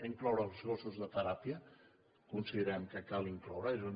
els gossos de teràpia considerem que cal incloure’ls